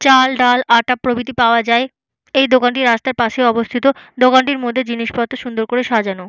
চাল ডাল আটা প্রভৃতি পাওয়া যায় এই দোকানটি রাস্তার পাশে অবস্থিত দোকানটির মধ্যে জিনিসপত্র সুন্দর করে সাজানো।